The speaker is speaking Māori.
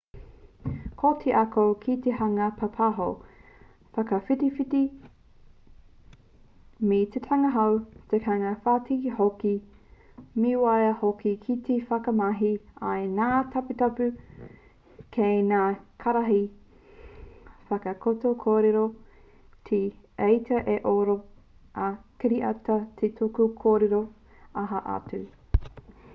ko te ako ki te hanga pāpaho whakawhitiwhiti me tikanga hou tikanga tawhito hoki me waia hoki ki te whakamahi i ngā taputapu kei ngā karaehe whakatakoto kōrero te etitā ā-oro ā-kiriata te tuku kōrero aha atu